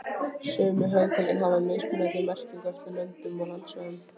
Sömu hugtök geta haft mismunandi merkingu eftir löndum og landsvæðum.